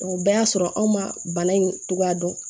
o bɛɛ y'a sɔrɔ anw ma bana in cogoya dɔn